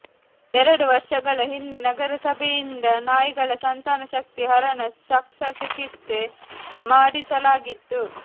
ಎರಡು ವರ್ಷಗಳ ಹಿಂದೆ ನರಸಭೆಯಿಂದ ನಾಯಿಗಳ ಸಂತಾನಶಕ್ತಿ ಹರಣ ಶಸ್ತ್ರಚಿಕಿತ್ಸೆ ಮಾಡಿಸಲಾಗಿತ್ತು